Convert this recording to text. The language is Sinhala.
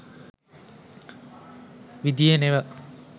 විධියෙ නෙව.